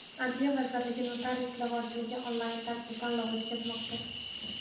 Adliya vazirligi notarius lavozimiga onlayn tarzda tanlov o‘tkazmoqda.